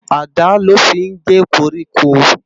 Àdá lò fi n gé kórìkó